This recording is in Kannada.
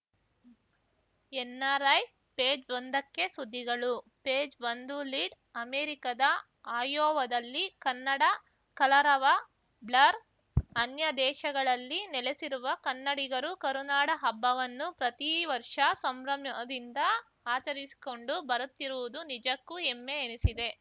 ಎನ್‌ಆರ್‌ಐ ಪೇಜ್‌ ಒಂದಕ್ಕೆ ಸುದ್ದಿಗಳು ಪೇಜ್‌ ಒಂದು ಲೀಡ್‌ ಅಮೆರಿಕದ ಅಯೋವಾದಲ್ಲಿ ಕನ್ನಡ ಕಲರವ ಬ್ಲರ್ ಅನ್ಯ ದೇಶಗಳಲ್ಲಿ ನೆಲೆಸಿರುವ ಕನ್ನಡಿಗರು ಕರುನಾಡ ಹಬ್ಬವನ್ನು ಪ್ರತಿ ವರ್ಷ ಸಂಭ್ರಮದಿಂದ ಆಚರಿಸಿಕೊಂಡು ಬರುತ್ತಿರುವುದು ನಿಜಕ್ಕೂ ಹೆಮ್ಮೆ ಎನಿಸಿದೆ